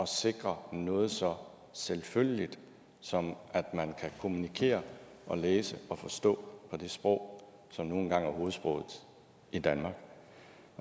sikre noget så selvfølgeligt som at man kan kommunikere og læse og forstå på det sprog som nu engang er hovedsproget i danmark